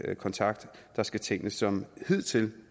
kontakt skal tingene som hidtil